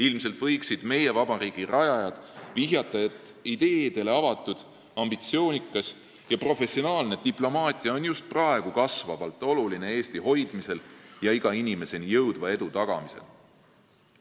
Ilmselt võiksid meie vabariigi rajajad vihjata, et ideedele avatud, ambitsioonikas ja professionaalne diplomaatia on just praegu üha olulisem Eesti hoidmisel ja iga inimeseni jõudva edu tagamisel.